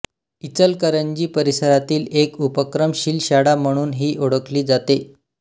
इचलकरंजी परिसरातील एक उपक्रमशील शाळा म्हणून ही ओळखली जाते